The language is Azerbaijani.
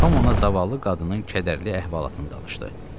Tom ona zavallı qadının kədərli əhvalatını danışdı.